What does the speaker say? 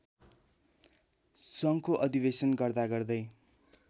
सङ्घको अधिवेशन गर्दागर्दै